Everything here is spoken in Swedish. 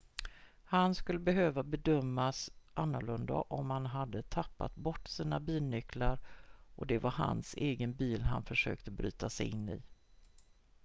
han skulle behöva bedömas annorlunda om han hade tappat bort sina bilnycklar och det var hans egen bil han försökte bryta sig in i